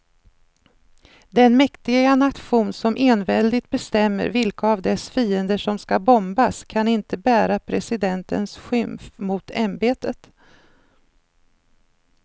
Den mäktiga nation som enväldigt bestämmer vilka av dess fiender som ska bombas kan inte bära presidentens skymf mot ämbetet.